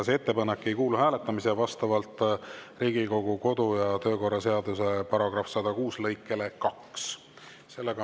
See ettepanek ei kuulu hääletamisele vastavalt Riigikogu kodu‑ ja töökorra seaduse § 106 lõikele 2.